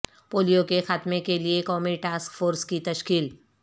پولیوکے خاتمے کے لیے قومی ٹاسک فورس کی تشکیل